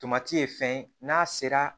Tomati ye fɛn ye n'a sera